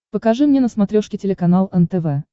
покажи мне на смотрешке телеканал нтв